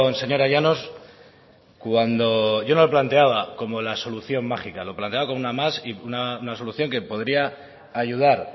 señora llanos cuando yo no lo planteaba como la solución mágica lo planteaba como una más y una solución que podría ayudar